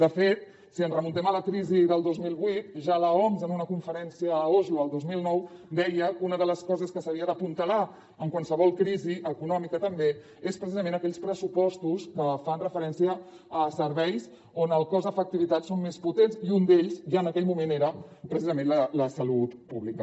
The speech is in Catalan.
de fet si ens remuntem a la crisi del dos mil vuit ja l’oms en una conferència a oslo el dos mil nou deia que una de les coses que s’havia d’apuntalar en qualsevol crisi econòmica també és precisament aquells pressupostos que fan referència a serveis on el cost efectivitat són més potents i un d’ells ja en aquell moment era precisament la salut pública